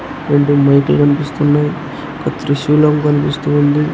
రెండు మైకు లు కనిపిస్తున్నాయి. ఒక త్రిశూలం కనిపిస్తూ ఉంది.